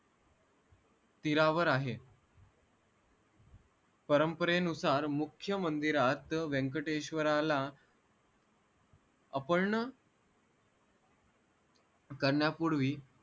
तीरावर आहे परंपरेनुसार मुख्य मंदिरात व्यंकटेश्वराला अपर्ण